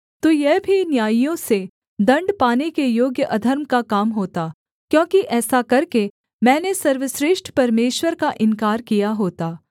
तो यह भी न्यायियों से दण्ड पाने के योग्य अधर्म का काम होता क्योंकि ऐसा करके मैंने सर्वश्रेष्ठ परमेश्वर का इन्कार किया होता